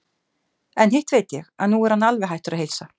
En hitt veit ég, að nú er hann alveg hættur að heilsa.